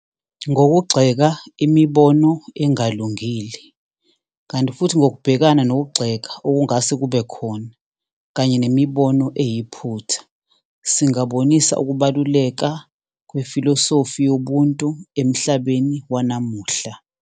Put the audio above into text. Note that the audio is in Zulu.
Ngokugxeka imibono engalungile, kanti futhi ngokubhekana nokugxeka okungase kube khona kanye nemibono eyiphutha, singabonisa ukubaluleka kwefilosofi yobuntu emhlabeni wanamuhla.